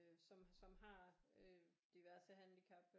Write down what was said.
Som som har øh diverse handicap